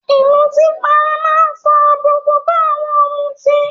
Ìmutípara máa ń fa àbùkù bá àwọn ọ̀mùtì